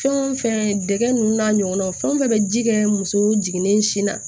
Fɛn o fɛn dɛgɛ ninnu n'a ɲɔgɔnnaw fɛn o fɛn bɛ ji kɛ muso jiginnen sin na